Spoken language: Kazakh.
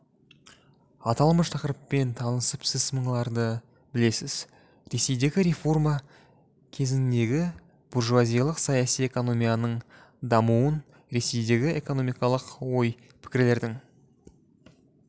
аталмыш тақырыппен танысып сіз мыналарды білесіз ресейдегі реформа кезеңіндегі буржуазиялық саяси экономияның дамуын ресейдегі экономикалық ой-пікірлердің